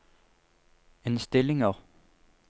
innstillinger